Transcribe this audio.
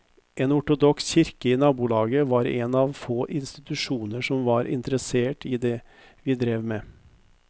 En ortodoks kirke i nabolaget var en av få institusjoner som var interessert i det vi drev med.